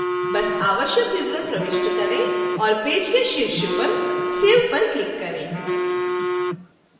बस आवश्यक विवरण प्रविष्ट करें और पेज के शीर्ष पर save पर click करें